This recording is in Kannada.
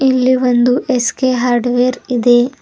ಇಲ್ಲೇ ಒಂದು ಎಸ್_ಕೆ ಹಾರ್ಡ್ವೇರ್ ಇದೆ.